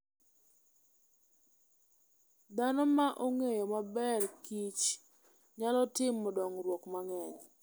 Dhano ma ong'eyo maber kich nyalo timo dongruok mang'eny.